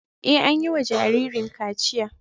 Ee, an yi wa jaririn kachiya.